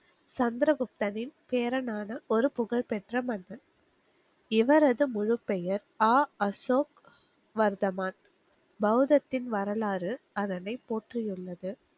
சந்திர குப்தனின் பேரனான் ஒரு புகழ் பெற்ற மன்னன். இவரது முழுப்பெயர் ஆ அசோக் வர்தமான். பௌதத்தின் வரலாறு அதனை போற்றியுள்ளது.